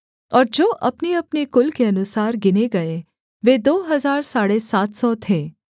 और जो अपनेअपने कुल के अनुसार गिने गए वे दो हजार साढ़े सात सौ थे